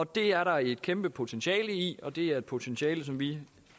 det er der et kæmpe potentiale i og det er et potentiale som vi